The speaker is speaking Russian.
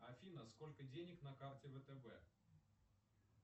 афина сколько денег на карте втб